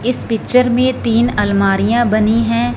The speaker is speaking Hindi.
इस पिक्चर में तीन अलमारियां बनी हैं।